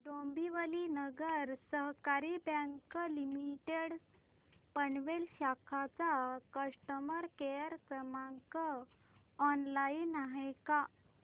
Dombivli Nagari Sahakari bank limited Panvel शाखा चा customer care क्रमांक ऑनलाइन आहे का